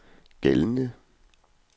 gældende